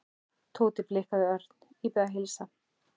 Tóti blikkaði Örn. Ég bið að heilsa